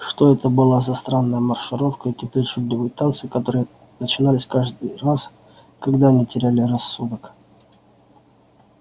что это была за странная маршировка эти причудливые танцы которые начинались каждый раз когда они теряли рассудок